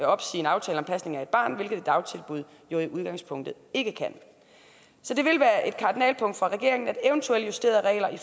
opsige en aftale om pasning af et barn hvilket et dagtilbud jo i udgangspunktet ikke kan så det vil være et kardinalpunkt for regeringen at eventuelle justerede regler i